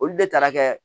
Olu de taara kɛ